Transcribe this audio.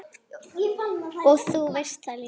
Og þú veist það líka.